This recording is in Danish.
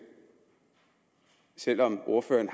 selv om ordføreren